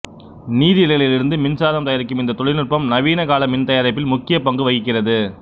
நீரலைகளிலிருந்து மின்சாரம் தயாரிக்கும் இந்த தொழில்நுட்பம் நவீன கால மின்தயாரிப்பில் முக்கிய பங்கு வகிக்கிறது